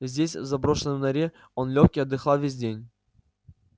здесь в заброшенной норе он лёг и отдыхал весь день